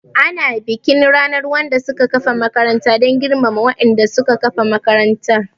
Ana bikin ranar wanda suka kafa makaranta dan girmama wa'inda suka kafa makarantar